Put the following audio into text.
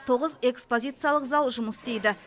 тоғыз экспозияциялық зал жұмыс істейді